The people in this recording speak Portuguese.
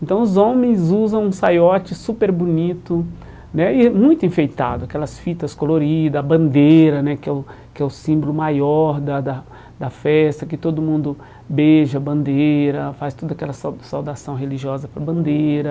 Então os homens usam um saiote super bonito né e é muito enfeitado, aquelas fitas coloridas, a bandeira né, que é que é o símbolo maior da da da festa, que todo mundo beija a bandeira, faz toda aquela sau saudação religiosa para a bandeira.